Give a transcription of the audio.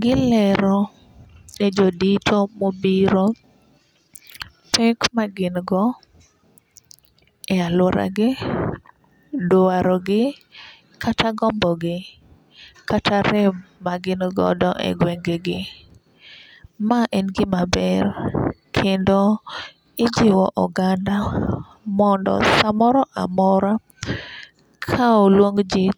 gilero ne jodiko mobiro pek ma gin go e aluora gi dwaro gi kata gombo gi kata rem ma gin godo e gwenge gi. Ma en gima ber kendo ijiwo oganda mondo samoro amora ka oluong jii